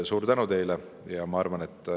Suur tänu teile!